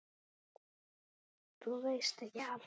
Þú veist ekki allt.